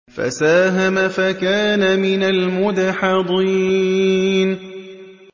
فَسَاهَمَ فَكَانَ مِنَ الْمُدْحَضِينَ